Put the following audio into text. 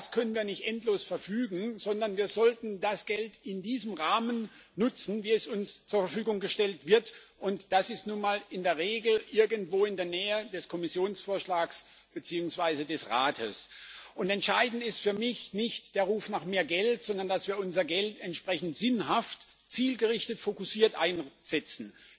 über das können wir nicht endlos verfügen, sondern wir sollten das Geld in diesem Rahmen nutzen, wie es uns zur Verfügung gestellt wird, und das ist nun mal in der Regel irgendwo in der Nähe des Kommissionsvorschlags beziehungsweise des Vorschlags des Rates. Entscheidend ist für mich nicht der Ruf nach mehr Geld, sondern dass wir unser Geld entsprechend sinnhaft, zielgerichtet, fokussiert einsetzen.